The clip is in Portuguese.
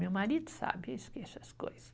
Meu marido sabe, eu esqueço as coisas.